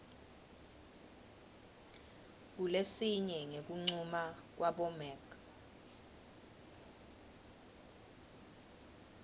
kulesinye ngekuncuma kwabomec